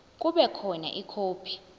kube khona ikhophi